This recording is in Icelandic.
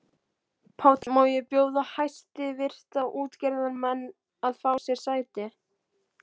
PÁLL: Má ég biðja hæstvirta útgerðarmenn að fá sér sæti.